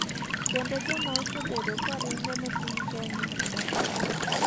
kendo joma osebedo ka ringo ne piny kenya odak maber.